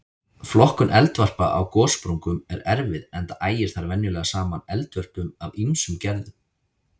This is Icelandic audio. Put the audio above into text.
Flokkun eldvarpa á gossprungum er erfið enda ægir þar venjulega saman eldvörpum af ýmsum gerðum.